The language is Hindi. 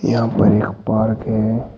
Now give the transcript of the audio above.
यहाँ पर एक पार्क है।